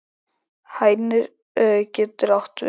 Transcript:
Hænir getur átt við